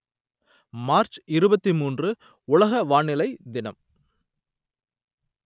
March இருபத்தி மூன்று உலக வானிலை தினம்